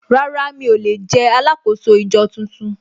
Rárá mi ò lè jẹ́ alákòóso ìjọ tuntun